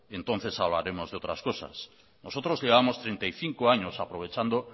entonces hablaremos de otras cosas nosotros llevamos treinta y cinco años aprovechando